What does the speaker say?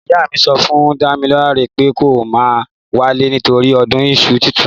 Ìyá mí sọfún dàmílàrẹ pẹ kọ mà wale nítòrí ọ̀dún ìsú títùn